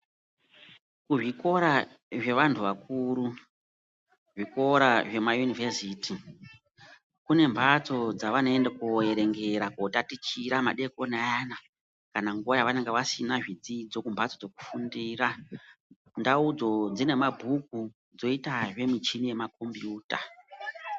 Kuzvikora zvevantu vakuru, zvikora zvemayunivhesiti, kune mbatso dzavanoenda koverengera, kotatichira madokoni ayana, kana nguva yavanenge vasina zvidzidzo kumbatso dzekufundira. Ndaudzo dzine mabhuku, dzoyitazve michini yemakombiyuta.